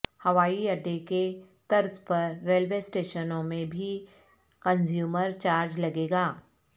ہوائی اڈے کے طرزپر ریلوے اسٹیشنوں میں بھی کنزیومرچارج لگے گا